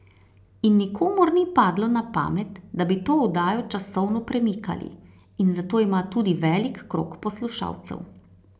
In nikomur ni padlo na pamet, da bi to oddajo časovno premikali, in zato ima tudi velik krog poslušalcev.